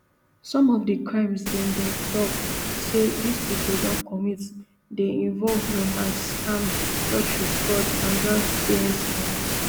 some of di crimes dem dem tok say dis pipo don commit dey involve romance scam lottery fraud and grandparent scams